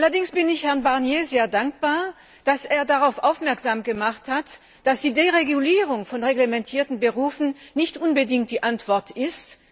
Allerdings bin ich Herrn Barnier sehr dankbar, dass er darauf aufmerksam gemacht hat, dass die Deregulierung von reglementierten Berufen nicht unbedingt die Antwort ist.